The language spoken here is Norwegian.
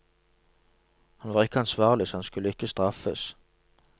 Han var ikke ansvarlig, så han skulle ikke straffes.